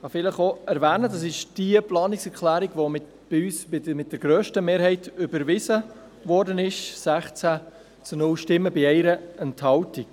Es ist diejenige Planungserklärung, die bei uns mit der grössten Mehrheit überwiesen wurde, nämlich mit 16 zu 0 Stimmen bei 1 Enthaltung.